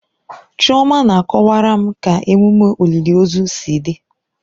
Chioma na-akọwara m ka emume olili ozu si dị.